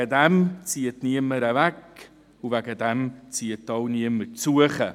Deswegen zieht niemand weg, und deswegen zieht auch niemand zu.